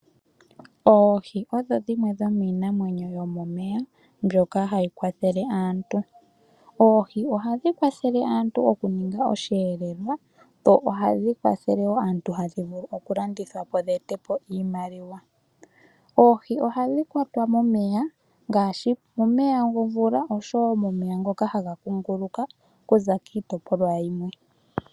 Oohi odho dhimwe dhomiinamwenyo mbyoka hayi kwathele aantu. Oohi ohadhi kwathele aantu oku ninga oshiyelelwa, nohadhi kwathele aantu oku landithwa po dheetele aantu iimaliwa. Oohi ohadhi kwatwa momeya ngaashi omeya gomvula nosho woo omeya ngoka haga kunguluka okuza kiitopolwa yimwe.